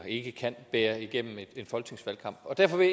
ikke kan bære igennem en folketingsvalgkamp derfor vil